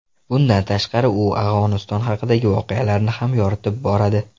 Bundan tashqari, u Afg‘oniston haqidagi voqealarni ham yoritib boradi.